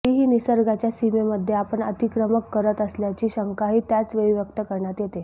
तरीही निसर्गाच्या सीमेमध्ये आपण अतिक्रमण करत असल्याची शंकाही त्याच वेळी व्यक्त करण्यात येते